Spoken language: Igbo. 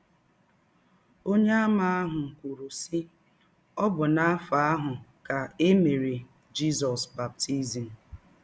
Ọnyeàmà ahụ kwụrụ, sị, “ Ọ bụ n’afọ ahụ ka e mere Jizọs baptizim. ”